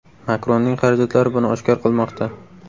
Makronning xarajatlari buni oshkor qilmoqda.